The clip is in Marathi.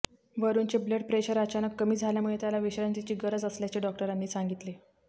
वरुणचे ब्लड प्रेशर अचानक कमी झाल्यामुळे त्याला विश्रांतीची गरज असल्याचे डॉक्टरांनी सांगितले